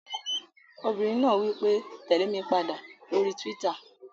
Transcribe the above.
Obìnrin náà wí pé "tèlé mi padà lórí túwítà!"